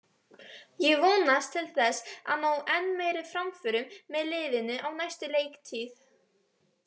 Ég vonast til þess að ná enn meiri framförum með liðinu á næstu leiktíð.